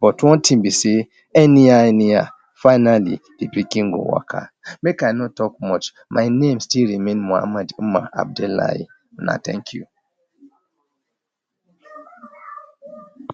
but one thing be sey, anyhow anyhow, finally de pikin go waka. Make I no talk much, my name still remains Mohammed Umar Abdullahi, una thank you.